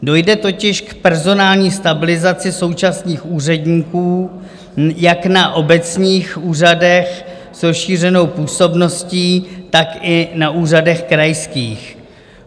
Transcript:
Dojde totiž k personální stabilizaci současných úředníků jak na obecních úřadech s rozšířenou působností, tak i na úřadech krajských.